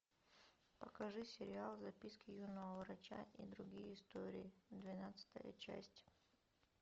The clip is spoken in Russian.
покажи сериал записки юного врача и другие истории двенадцатая часть